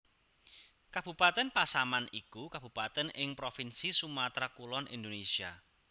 Kabupatèn Pasaman iku kabupatèn ing provinsi Sumatra Kulon Indonésia